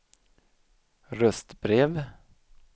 röstbrev